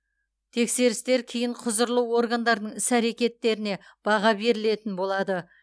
тексерістер кейін құзырлы органдарының іс әрекетіне баға берілетін болады